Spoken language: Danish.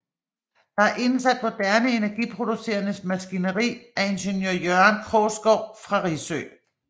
Der er indsat moderne energiproducerende maskineri af ingeniør Jørgen Krogsgård fra Risø